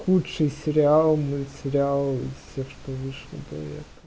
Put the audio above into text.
худший сериал мультсериал из всех что вышел